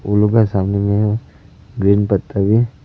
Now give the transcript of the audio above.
उन लोग का सामने में ग्रीन पत्ता भी है।